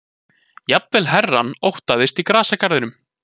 Jafnvel herrann óttaðist í grasgarðinum.